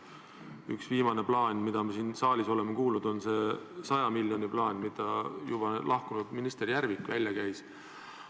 Üks viimane plaan, mida me siin saalis oleme kuulnud, on see saja miljoni plaan, mille juba lahkunud minister Järvik välja käis.